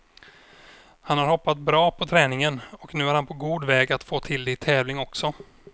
Han har hoppat bra på träning och nu är han på god väg att få till det i tävling också.